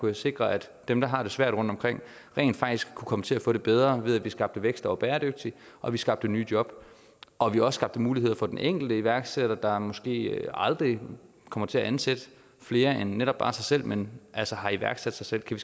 jeg sikre at dem der har det svært rundtomkring rent faktisk kunne komme til at få det bedre ved at vi skabte vækst der var bæredygtig og vi skabte nye job og vi også skabte muligheder for den enkelte iværksætter der måske aldrig kommer til at ansætte flere end netop bare sig selv men altså har iværksat sig selv kan